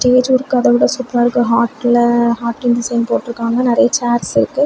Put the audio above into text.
Stage work அதை விட சூப்பரா இருக்கு ஹாட் ல ஹாட் டீன் டிசைன் போட்டு இருக்காங்க. நெறைய ச்சைர்ஸ் இருக்கு.